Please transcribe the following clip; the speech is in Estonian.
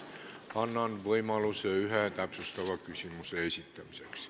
Annan võimaluse ühe täpsustava küsimuse esitamiseks.